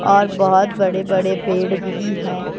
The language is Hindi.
और बहुत बड़े-बड़े पेड़ भी हैं।